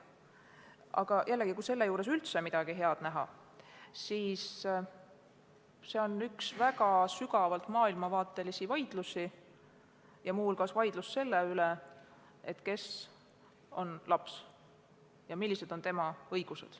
Aga jällegi, kui püüda selle juures midagi head näha, siis seda, et see on üks väga sügavalt maailmavaatelisi vaidlusi ja muu hulgas vaidlus selle üle, kes on laps ja millised on tema õigused.